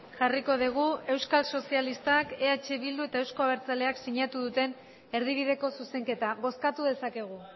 jarriko dugu euskal sozialistak eh bildu eta euzko abertzaleak sinatu duten erdibideko zuzenketa bozkatu dezakegu